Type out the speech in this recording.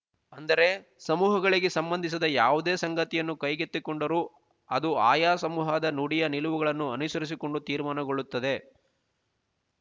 ಅಂದರೆ ಸಮೂಹಗಳಿಗೆ ಸಂಬಂಧಿಸಿದ ಯಾವುದೇ ಸಂಗತಿಯನ್ನು ಕೈಗೆತ್ತಿಕೊಂಡರೂ ಅದು ಆಯಾ ಸಮೂಹದ ನುಡಿಯ ನಿಲುವುಗಳನ್ನು ಅನುಸರಿಸಿಕೊಂಡು ತೀರ್ಮಾನಗೊಳ್ಳುತ್ತದೆ